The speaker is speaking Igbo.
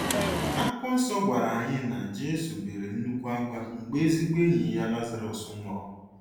Akwụkwọ nsọ gwara Anyị na Jesu bere nnukwu akwa mgbe ezigbo enyi ya Lazarus nwụrụ